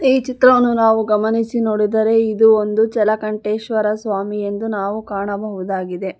ಈ ಚಿತ್ರವನ್ನು ನಾವು ಗಮನಿಸಿ ನೋಡಿದರೆ ಇದು ಒಂದು ಜಲಗಂಟೇಶ್ವರ ಸ್ವಾಮಿ ಎಂದು ನಾವು ಕಾಣಬಹುದಾಗಿದೆ.